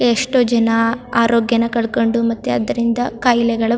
ಎಷ್ಟೋ ಜನ ಆರೋಗ್ಯನ ಕಳ್ ಕೊಂಡು ಮತ್ತೆ ಅದ್ರಿಂದ ಕಾಯಿಲೆಗಳು --